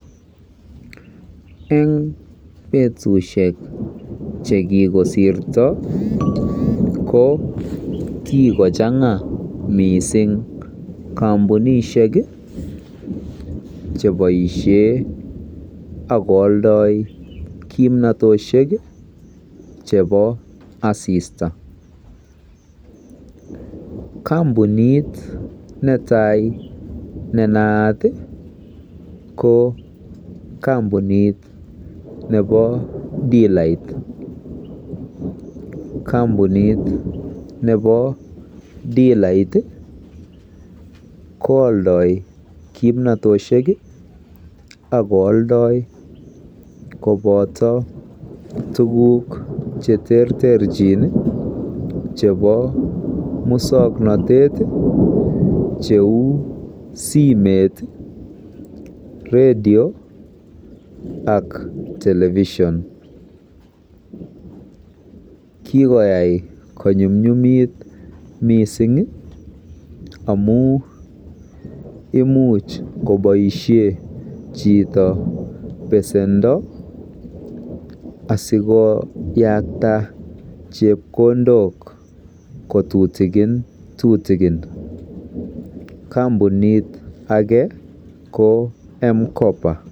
En betushek chekikosirto ko kikochemga missing kompunishek kii cheboishen ak ko oldoik kimnotoshek kii chebo asista, kompunit netai netaat tii ko kompunit nebo dilait, kompunit nebo dilait koodoi kimnotoshek ak ok kooldoi koboto tukuk cheterterchin nii cheu muswoknotet cheu simeit, radio ak television kikoyai konyumyumit missingi amun imuch koboishen chito pesendo asikoyakta chepkondok kotutukin tutukin. Kompunit ake ko mkoba.